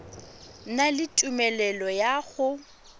na le tumelelo ya go